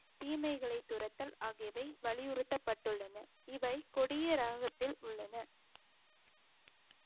தீமைகளை துரத்தல் ஆகியவை வலியுறுத்தப்பட்டுள்ளன இவை கொடிய ராகத்தில் உள்ளன